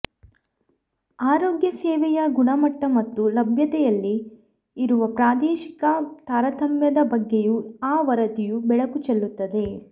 ಆರೋಗ್ಯ ಸೇವೆಯ ಗುಣಮಟ್ಟ ಮತ್ತು ಲಭ್ಯತೆಯಲ್ಲಿ ಇರುವ ಪ್ರಾದೇಶಿಕ ತಾರತಮ್ಯದ ಬಗ್ಗೆಯೂ ಆ ವರದಿಯು ಬೆಳಕು ಚೆಲ್ಲುತ್ತದೆ